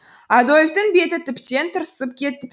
адольфтің беті тіптен тырысып кетіп